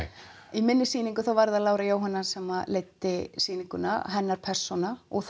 í minni sýningu þá var það Lára Jóhanna sem leiddi sýninguna hennar persóna og